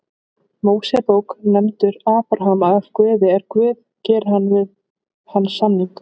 Mósebók nefndur Abraham af Guði er Guð gerir við hann samning: